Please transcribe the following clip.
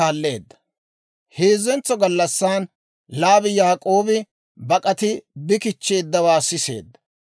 Heezzentsa gallassan, Laabi Yaak'oobi bak'ati bi kichcheeddawaa siseedda.